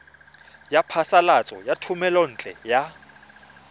ya phasalatso ya thomelontle le